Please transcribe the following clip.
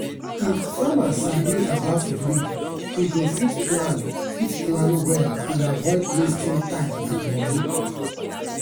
if farmer sabi about breed e go fit plan fit plan well and avoid wasting time and money.